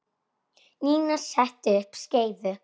Nína setti upp skeifu.